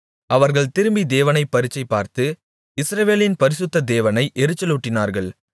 அவர்கள் திரும்பி தேவனைப் பரீட்சை பார்த்து இஸ்ரவேலின் பரிசுத்த தேவனை எரிச்சலூட்டினார்கள்